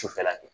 Sufɛla kɛ